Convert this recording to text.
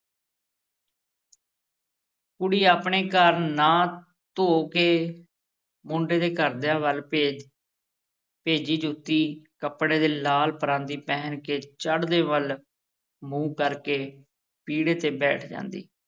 ਕੁੜੀ ਆਪਣੇ ਘਰ ਨ੍ਹਾ-ਧੋ ਕੇ ਮੁੰਡੇ ਦੇ ਘਰਦਿਆਂ ਵੱਲ ਭੇਜ ਭੇਜੀ ਜੁੱਤੀ, ਕੱਪੜੇ ਤੇ ਲਾਲ ਪਰਾਂਦੀ ਪਹਿਨ ਕੇ ਚੜ੍ਹਦੇ ਵੱਲ ਮੂੰਹ ਕਰ ਕੇ ਪੀੜ੍ਹੇ ਤੇ ਬੈਠ ਜਾਂਦੀ।